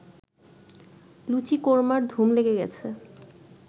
লুচি কোরমার ধুম লেগে গেছে